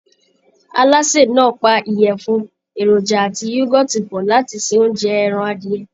Alásè náà pa ìyẹ̀fun, èròjà àti yúgọ́ọ̀tì pọ̀ láti ṣe oúnjẹ ẹran adìyẹ